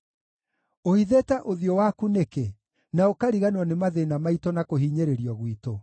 Ũhithĩte ũthiũ waku nĩkĩ, na ũkariganĩrwo nĩ mathĩĩna maitũ na kũhinyĩrĩrio gwitũ?